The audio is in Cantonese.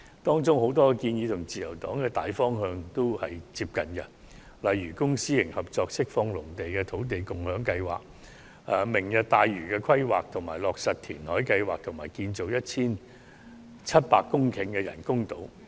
當中有很多建議均與自由黨的大方向接近，例如公私營合作釋放農地的土地共享先導計劃、"明日大嶼"的規劃、落實填海計劃，以及建造面積達 1,700 公頃的人工島。